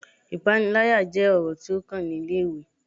Ipanilaya jẹ ọrọ ti o kan ni ile-iwe